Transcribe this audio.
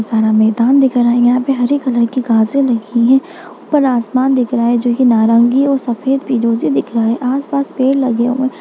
बहुत सारा मैदान दिख रहा है यहाँ पे हरे कलर की घासे लगी है ऊपर आसमान दिख रहा है जो कि नारंगी और सफेद लग रहा है आस-पास पेड़ लगे हुए है।